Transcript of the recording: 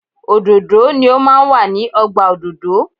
Òdòdó ni o máa ń wà ní ọgbà òdòdó.